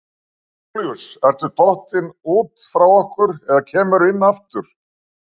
Jón Júlíus ertu dottinn út frá okkur eða kemurðu inn aftur?